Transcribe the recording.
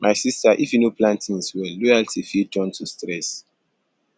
my sista if you no plan tins well loyalty fit turn to stress